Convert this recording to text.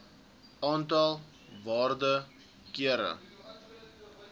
aantal waarde kere